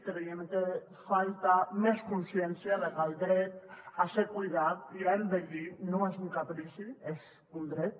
creiem que falta més consciència de que el dret a ser cuidat i a envellir no és un caprici és un dret